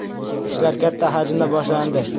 Ishlar katta hajmda boshlandi.